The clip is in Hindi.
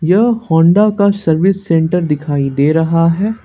यह होंडा का सर्विस सेंटर दिखाई दे रहा है।